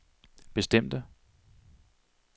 bestemte